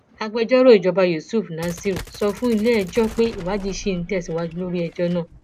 agbẹjọrò ìjọba yusuf nasir sọ fún iléẹjọ pé ìwádìí ṣì ń tẹsíwájú lórí ẹjọ náà